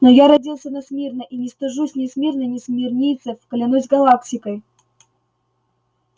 но я родился на смирно и не стыжусь ни смирно ни смирнийцев клянусь галактикой